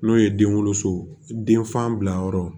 N'o ye den woloso denfan bilayɔrɔ ye